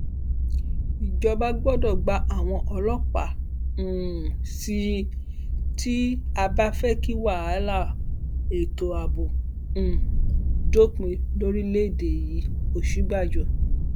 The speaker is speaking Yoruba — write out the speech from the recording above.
ìjọba gbọdọ gba àwọn ọlọpàá um sí i tí a bá fẹ kí wàhálà ètò ààbò um dópin lórílẹèdè yìí òsínbàjò